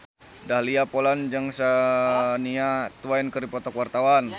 Dahlia Poland jeung Shania Twain keur dipoto ku wartawan